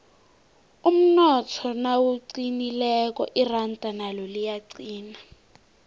umnotho nawuqinileko iranda nalo liyaqina